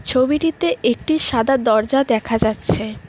ছবিটিতে একটি সাদা দরজা দেখা যাচ্ছে।